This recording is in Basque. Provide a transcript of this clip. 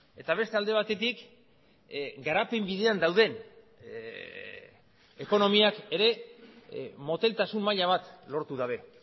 eta beste alde batetik garapen bidean dauden ekonomiak ere moteltasun maila bat lortu dabe